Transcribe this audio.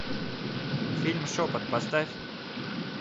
фильм шепот поставь